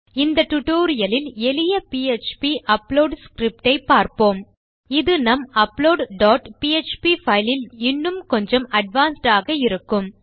இந்த டுடோரியலில் எளிய பிஎச்பி அப்லோட் ஸ்கிரிப்ட் ஐ பார்ப்போம் இது நம் அப்லோட் டாட் பிஎச்பி பைல் இல் இன்னும் கொஞ்சம் அட்வான்ஸ்ட் ஆக இருக்கும்